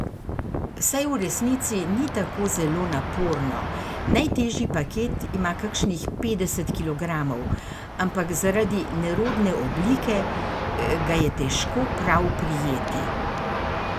Saj v resnici ni tako zelo naporno, najtežji paket ima kakšnih petdeset kilogramov, ampak zaradi nerodne oblike ga je težko prav prijeti.